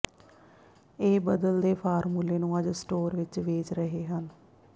ਇਹ ਬਦਲ ਦੇ ਫ਼ਾਰਮੂਲੇ ਨੂੰ ਅੱਜ ਸਟੋਰ ਵਿੱਚ ਵੇਚ ਰਹੇ ਹਨ